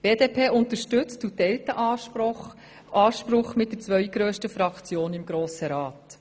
Die BDP unterstützt diesen Anspruch der zweitgrössten Fraktion im Grossen Rat.